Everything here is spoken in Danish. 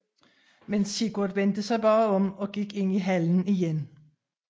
Men Sigurd vendte sig bare om og gik ind i hallen igen